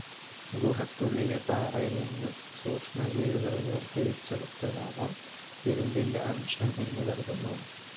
ഗുഹയ്ക്കുള്ളിലെ പാറയിൽനിന്നു സൂക്ഷ്മ ജീവികൾ വേർതിരിച്ചെടുത്തതാവാം ഇരുമ്പിന്റെ അംശം എന്നുകരുതുന്നു.